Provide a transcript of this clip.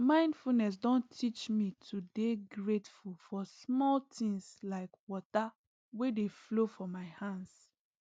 mindfulness don teach me to dey grateful for small things like water wey dey flow for my hands